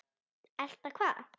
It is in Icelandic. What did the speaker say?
Elta hvað?